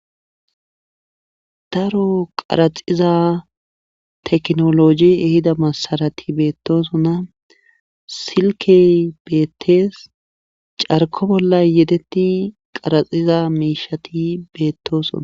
Daro qaraxiza tekinoloje ehido masarati beetosona silkke beetees. carkko yedeti qaraxiza miishati betosona.